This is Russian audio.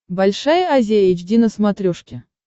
большая азия эйч ди на смотрешке